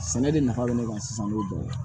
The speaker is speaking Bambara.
Sɛnɛ de nafa bɛ ne kan sisan n'o dɔ ye